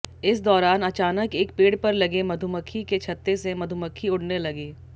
इस दौरान अचानक एक पेड़ पर लगे मधुमक्खी के छत्ते से मधुमक्खी उड़ने लगी